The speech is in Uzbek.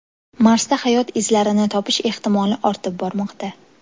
Marsda hayot izlarini topish ehtimoli ortib bormoqda.